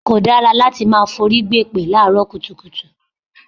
Kò dára láti máa forí gbèpè láàárọ̀ kùtùkùtù.